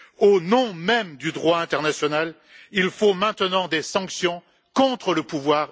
Au nom même du droit international, il faut maintenant des sanctions contre le pouvoir israélien.